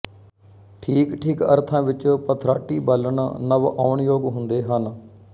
ਠੀਕਠੀਕ ਅਰਥਾਂ ਵਿੱਚ ਪਥਰਾਟੀ ਬਾਲਣ ਨਵਿਆਉਣਯੋਗ ਹੁੰਦੇ ਹਨ